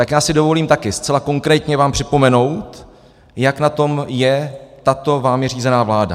Tak já si dovolím taky zcela konkrétně vám připomenout, jak na tom je tato vámi řízená vláda.